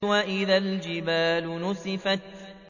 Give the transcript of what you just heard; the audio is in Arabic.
وَإِذَا الْجِبَالُ نُسِفَتْ